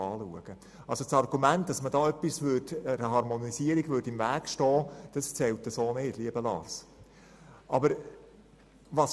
Das Argument, man würde einer Harmonisierung im Weg stehen, zählt so nicht, lieber Lars.